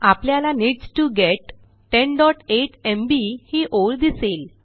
आपल्याला needs T गेट 108 MB ही ओळ दिसेल